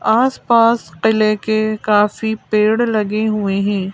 आसपास किले के काफी पेड़ लगे हुए है।